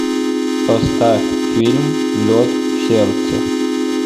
поставь фильм лед в сердце